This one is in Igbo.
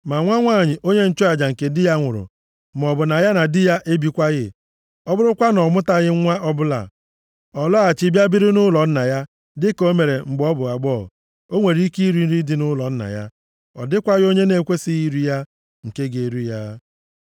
Ma nwa nwanyị onye nchụaja nke di ya nwụrụ, maọbụ na ya na di ya ebikwaghị, ọ bụrụkwa na ọ mụtaghị nwa ọbụla, ọ lọghachi bịa biri nʼụlọ nna ya dịka o mere mgbe ọ bụ agbọghọ, o nwere ike iri nri dị nʼụlọ nna ya. Ọ dịkwaghị onye na-ekwesighị iri ya, + 22:13 Nke a bụ onye ọbịa maọbụ onye ala ọzọ nke ga-eri ya.